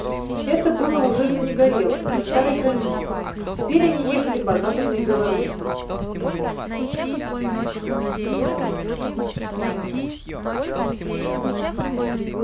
это было уже за негорелым за старой границей теперь они ехали по западной белоруссии